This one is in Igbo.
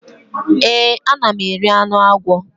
Èé, ana m eri anụ agwọ.